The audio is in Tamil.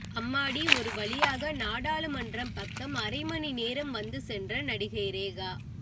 அம்மாடி ஒரு வழியாக நாடாளுமன்றம் பக்கம் அரை மணிநேரம் வந்து சென்ற நடிகை ரேகா